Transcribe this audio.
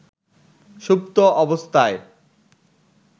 সুপ্ত অবস্থায়